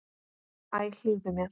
Æ, hlífðu mér!